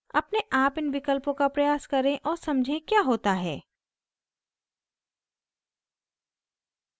अपने आप इन विकल्पों का प्रयास करें और समझें क्या होता है